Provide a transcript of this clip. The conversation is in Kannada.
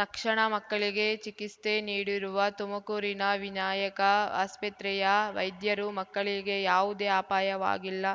ತಕ್ಷಣ ಮಕ್ಕಳಿಗೆ ಚಿಕಿಸ್ತೆ ನೀಡಿರುವ ತುಮಕೂರಿನ ವಿನಾಯಕ ಆಸ್ಪತ್ರೆಯ ವೈದ್ಯರು ಮಕ್ಕಳಿಗೆ ಯಾವುದೇ ಅಪಾಯವಾಗಿಲ್ಲ